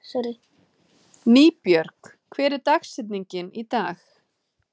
Nýbjörg, hver er dagsetningin í dag?